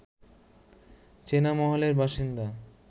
চেনা মহলের বাসিন্দা